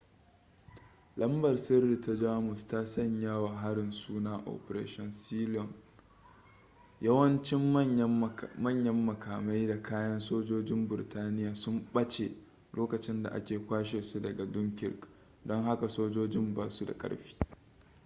lambar-sirri ta jamus ta sanya wa harin suna operation sealion yawancin manyan makamai da kayan sojojin burtaniya sun ɓace lokacin da aka kwashe su daga dunkirk don haka sojojin ba su da ƙarfi